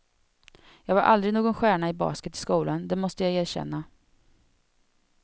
Jag var aldrig någon stjärna i basket i skolan, det måste jag erkänna.